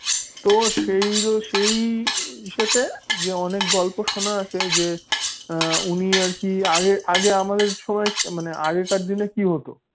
তো সেই সেই ইসতে যে অনেক গল্প শোনার আছে উনি আর কি মানে আগে আমাদের সময় মানে আগেরকার দিনে কি হতো